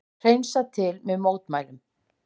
Hreinsað til eftir mótmælin